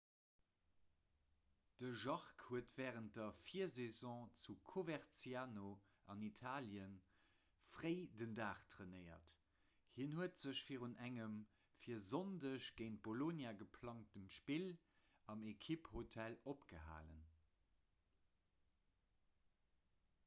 de jarque huet wärend der virsaison zu coverciano an italie fréi den dag trainéiert hien huet sech virun engem fir sonndeg géint bolonia geplangt spill am ekipphotel opgehalen